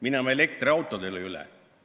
Minema elektriautodele üle.